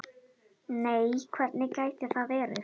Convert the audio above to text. Nei hvernig gæti það verið?